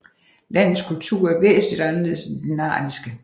Landets kultur er væsentligt anderledes end den narniske